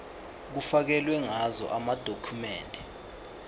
kufakelwe ngazo amadokhumende